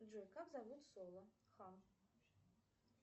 джой как зовут соло хан